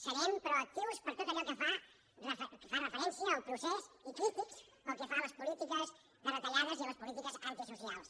serem proactius per a tot allò que fa referència al procés i crítics pel que fa a les polítiques de retallades i a les polítiques antisocials